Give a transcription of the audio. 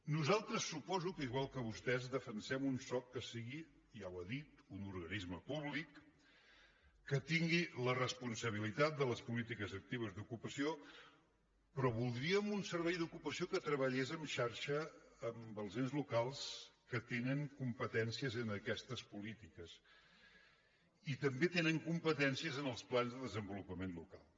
nosaltres suposo que igual que vostès defensem un soc que sigui ja ho ha dit un organisme públic que tingui la responsabilitat de les polítiques actives d’ocupació però voldríem un servei d’ocupació que treballés en xarxa amb els ens locals que tenen competències en aquestes polítiques i també tenen competències en els plans de desenvolupament local